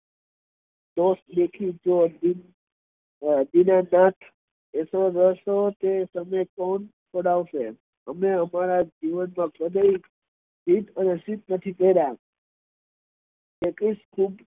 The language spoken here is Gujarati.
દીનાના અતો તમે કોણ કરાવશે અમે અમારા જીવન સિદ્ધ નથી કર્યા